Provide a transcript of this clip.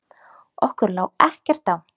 Okkur lá ekkert á.